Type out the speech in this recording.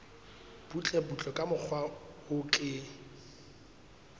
butlebutle ka mokgwa o ke